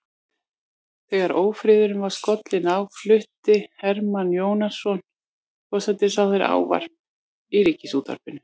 Þegar ófriðurinn var skollinn á flutti Hermann Jónasson forsætisráðherra ávarp í ríkisútvarpið.